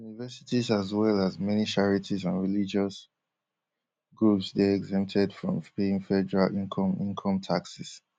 universities as well as many charities and religious groups dey exempted from paying federal income income taxes